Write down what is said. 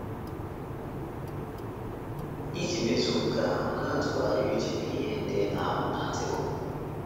Iji mezuo nke ahụ, na - atụgharị uche n’ihe ndị ị na - amụ n' Artịkụlụ.